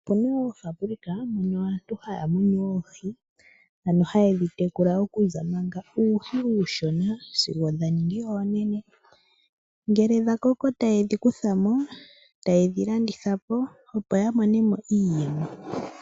Opuna woo oofaambulika mono aantu haya munu oohi, ano haye dhi tekula manga uuhi uushona sigo dha ningi oonene. Ngele dha koko taye dhi kutha mo, e taye dhi landitha po, opo yamone mo iiyemo.